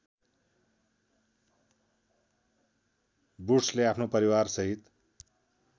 वुड्सले आफ्नो परिवारसहित